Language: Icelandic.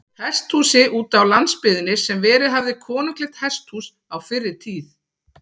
Hesthúsi útá landsbyggðinni, sem verið hafði konunglegt hesthús á fyrri tíð.